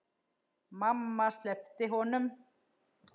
Mamma sleppti honum.